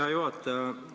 Hea juhataja!